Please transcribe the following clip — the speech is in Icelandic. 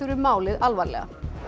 málið alvarlega